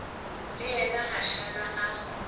le yena a šala a